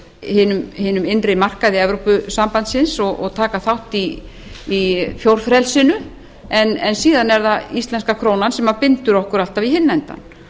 hinum innri markaði evrópusambandsins og taka mark í fjórfrelsinu en síðan er það íslenska krónan sem bindur okkur alltaf í hinn endann